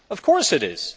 Of course it is